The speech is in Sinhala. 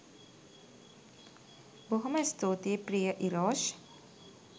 බොහෝම ස්තුතියි ප්‍රිය ඉරෝෂ්